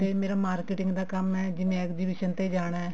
ਤੇ ਮੇਰਾ marketing ਦਾ ਕੰਮ ਹੈ ਜਿਵੇਂ ਜਿਵੇਂ exhibition ਤੇ ਜਾਣਾ